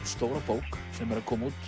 stóra bók sem er að koma út